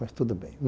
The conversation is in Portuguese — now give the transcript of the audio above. Mas tudo bem.